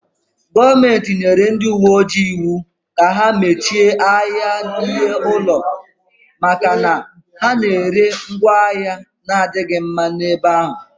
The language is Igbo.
Gọọmenti nyere ndị uwe ojii iwu ka ha mechie ahịa ihe ụlọ maka na ha na-ere ngwaahịa na-adịghị mma n'ebe ahụ